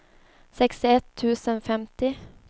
sextioett tusen femtio